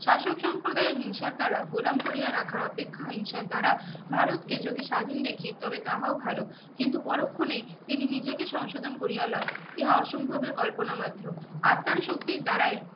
শাসক সম্প্রদায়ের হিংসার দারা গোলাম করিয়া রাখা অপেক্ষাই হিংসার দারা ভারত কে যদি স্বাধীন দেখি তবে তাহো ভালো কিন্তু পরোক্ষনেই তিনি নিজেকে সংশোধন করিয়া লোহ ইহা অসম্ভব এ কল্পনা মাত্র আত্মার শক্তির দ্বারাই